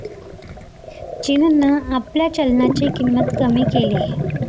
चीननं आपल्या चलनाची किंमत कमी केलीय.